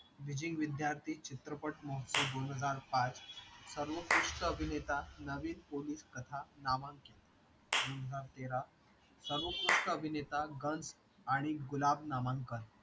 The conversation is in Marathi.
bridging विद्यार्थी चित्रपट महोत्सव दोन हजार पाच सर्वकृष्ट अभिनेता दोन हजार तेरा सर्वकृष्ट अभिनेता गण आणि गुलाब नामांकन